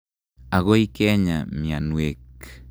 Akoi kenya mianwek.